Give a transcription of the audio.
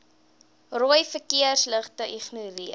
rooi verkeersligte ignoreer